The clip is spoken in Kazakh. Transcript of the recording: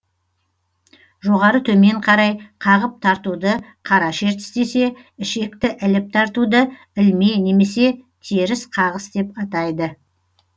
жоғары төмен қарай қағып тартуды қара шертіс десе ішекті іліп тартуды ілме немесе теріс қағыс деп атайды